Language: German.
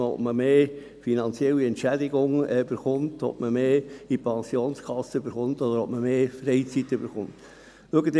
Also, ob man mehr finanzielle Entschädigung, mehr in die Pensionskasse oder mehr Freizeit haben will.